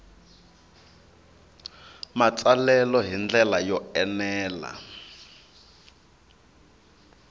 matsalelo hi ndlela yo enela